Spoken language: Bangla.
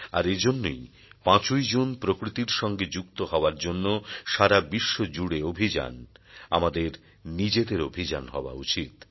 আর এজন্যই ৫ ই জুন প্রকৃতির সঙ্গে যুক্ত হওয়ার জন্য সারা বিশ্ব জুড়ে অভিযান আমাদের নিজেদের অভিযান হওয়া উচিত